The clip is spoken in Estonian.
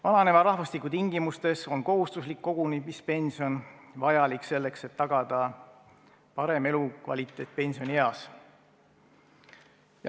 Vananeva rahvastiku tingimustes on kohustuslik kogumispension vajalik, selleks et tagada parem elukvaliteet pensionieas.